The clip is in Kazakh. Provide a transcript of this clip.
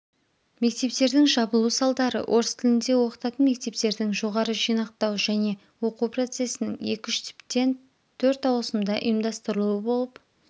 мектептердің жабылу салдары орыс тілінде оқытатын мектептердің жоғары жинақтау және оқу процесінің екі үш тіптен төрт ауысымда ұйымдастырылуы болып